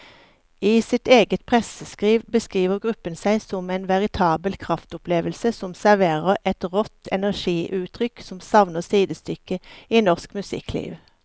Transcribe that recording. I sitt eget presseskriv beskriver gruppen seg som en veritabel kraftopplevelse som serverer et rått energiutrykk som savner sidestykke i norsk musikkliv.